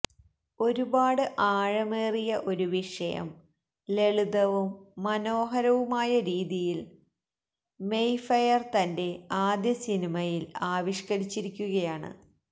ഒരുപാട് ആഴമേറിയ ഒരു വിഷയം ലളിതവും മനോഹരവുമായ രീതിയില് മെയ്ഫെയര് തന്റെ ആദ്യ സിനിമയില് ആവിഷ്കരിച്ചിരിക്കുകയാണ്